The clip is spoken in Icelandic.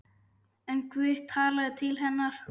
En Guð talaði til hennar.